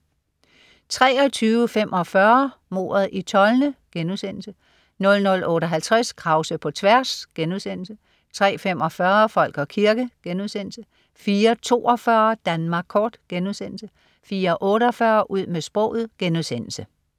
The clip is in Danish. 23.45 Mordet i Tolne* 00.58 Krause på tværs* 03.45 Folk og kirke* 04.42 Danmark kort* 04.48 Ud med sproget*